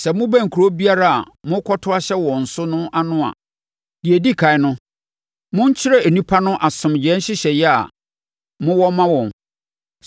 Sɛ mobɛn kuro biara a morekɔto ahyɛ wɔn so no ano a, deɛ ɛdi ɛkan no, monkyerɛ nnipa no asomdwoeɛ nhyehyɛeɛ a mowɔ ma wɔn.